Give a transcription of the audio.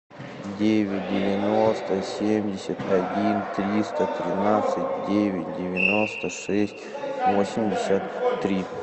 девять девяносто семьдесят один триста тринадцать девять девяносто шесть восемьдесят три